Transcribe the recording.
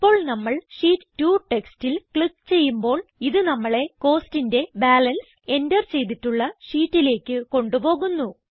ഇപ്പോൾ നമ്മൾ ഷീറ്റ് 2 ടെക്സ്റ്റിൽ ക്ലിക്ക് ചെയ്യുമ്പോൾ ഇത് നമ്മളെ Costന്റെ ബാലൻസ് എന്റർ ചെയ്തിട്ടുള്ള ഷീറ്റിലേക്ക് കൊണ്ട് പോകുന്നു